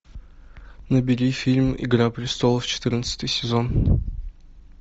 набери фильм игра престолов четырнадцатый сезон